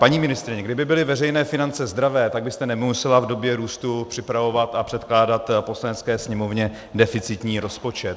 Paní ministryně, kdyby byly veřejné finance zdravé, tak byste nemusela v době růstu připravovat a předkládat Poslanecké sněmovně deficitní rozpočet.